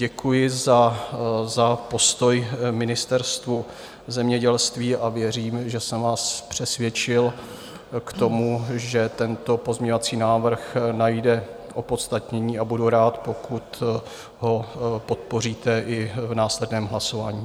Děkuji za postoj Ministerstvu zemědělství a věřím, že jsem vás přesvědčil k tomu, že tento pozměňovací návrh najde opodstatnění, a budu rád, pokud ho podpoříte i v následném hlasování.